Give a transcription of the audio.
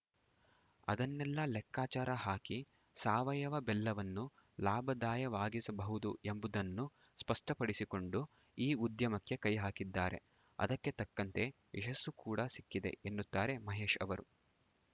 ಅದನ್ನೆಲ್ಲಾ ಲೆಕ್ಕಾಚಾರ ಹಾಕಿ ಸಾವಯವ ಬೆಲ್ಲವನ್ನು ಲಾಭದಾಯವಾಗಿಸಬಹುದು ಎಂಬುದನ್ನು ಸ್ಪಷ್ಟಪಡಿಸಿಕೊಂಡು ಈ ಉದ್ಯಮಕ್ಕೆ ಕೈ ಹಾಕಿದ್ದಾರೆ ಅದಕ್ಕೆ ತಕ್ಕಂತೆ ಯಶಸ್ಸು ಕೂಡ ಸಿಕ್ಕಿದೆ ಎನ್ನುತ್ತಾರೆ ಮಹೇಶ್‌ ಅವರು